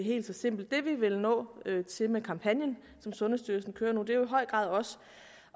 helt så simpelt det vi vil opnå med kampagnen som sundhedsstyrelsen kører nu i høj grad også